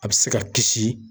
A bɛ se ka kisi